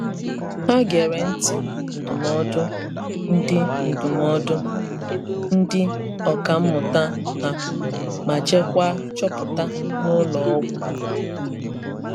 Hà gere nti ndụmọdụ ndị ndụmọdụ ndị ọ̀kà mmụta ha, ma jeekwaa chọpụta n’ụlọ ọgwụ.